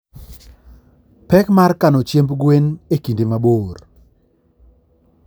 Pek mar kano chiemb gwen e kinde mabor